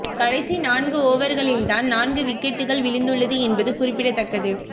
கடைசி நான்கு ஓவர்களில் தான் நான்கு விக்கெட்டுக்கள் விழுந்துள்ளது என்பது குறிப்பிடத்தக்கது